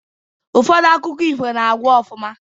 Ụfọdụ akụkọ ifo na-agwụ ofụma